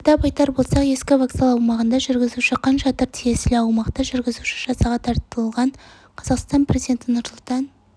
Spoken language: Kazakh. атап айтар болсақ ескі вокзал аумағында жүргізуші хан шатыр тиесілі аумақта жүргізуші жазаға тартылған қазақстан президенті нұрсұлтан